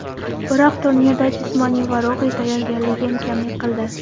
Biroq turnirda jismoniy va ruhiy tayyorgarligim kamlik qildi.